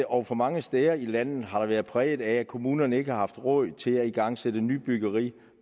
og og mange steder i landet har været præget af at kommunerne ikke har haft råd til at igangsætte nybyggeri